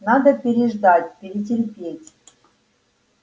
надо переждать перетерпеть